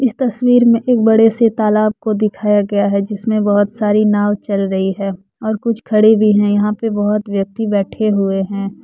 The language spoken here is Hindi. इस तस्वीर में एक बड़े से तालाब को दिखाया गया है जिसमें बहुत सारी नाव चल रही है और कुछ खड़े भी हैं यहां पे बहुत व्यक्ति बैठे हुए हैं।